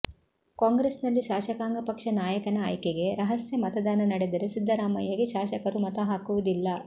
ಕಾಂಗ್ರೆಸ್ನಲ್ಲಿ ಶಾಸಕಾಂಗ ಪಕ್ಷ ನಾಯಕನ ಆಯ್ಕೆಗೆ ರಹಸ್ಯ ಮತದಾನ ನಡೆದರೆ ಸಿದ್ದರಾಮಯ್ಯಗೆ ಶಾಸಕರು ಮತ ಹಾಕುವುದಿಲ್ಲ